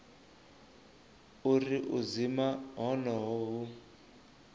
uri u dzima honoho hu